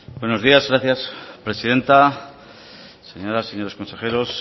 buenos días gracias presidenta señoras y señores consejeros